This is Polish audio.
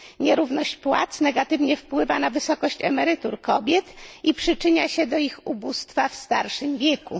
Nierówność płac negatywnie wpływa na wysokość emerytur kobiet i przyczynia się do ich ubóstwa w starszym wieku.